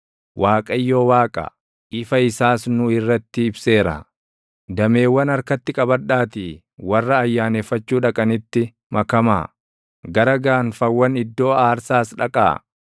Waaqayyo Waaqa; ifa isaas nuu irratti ibseera. Dameewwan harkatti qabadhaatii // warra ayyaaneffachuu dhaqanitti makamaa; gara gaanfawwan iddoo aarsaas dhaqaa.